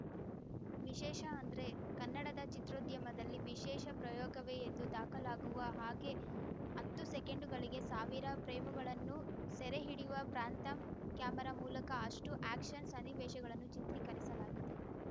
ವಿಶೇಷ ಅಂದ್ರೆ ಕನ್ನಡದ ಚಿತ್ರೋದ್ಯಮದಲ್ಲಿ ವಿಶೇಷ ಪ್ರಯೋಗವೇ ಎಂದು ದಾಖಲಾಗುವ ಹಾಗೆ ಹತ್ತು ಸೆಕೆಂಡುಗಳಿಗೆ ಸಾವಿರ ಫ್ರೇಮುಗಳನ್ನು ಸೆರೆಹಿಡಿಯುವ ಪ್ರ್ಯಾಂಥಮ್‌ ಕ್ಯಾಮರಾ ಮೂಲಕ ಅಷ್ಟು ಆಯಕ್ಷನ್‌ ಸನ್ನಿವೇಶಗಳನ್ನು ಚಿತ್ರೀಕರಿಸಲಾಗಿದೆ